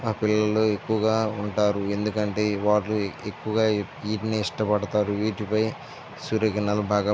ఆ పిల్లలు ఎక్కువగా ఉంటారు. ఎందుకంటే ఈ పార్క్ ఎక్కువగా వీటిని ఇష్టపడుతారు వీటిపై సూర్యకిరణాలు బాగా --